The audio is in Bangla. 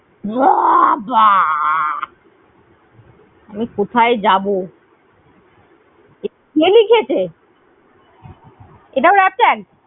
বাহ বাহ আমি কোথায় যাবো? কে লিখেছে? এটাও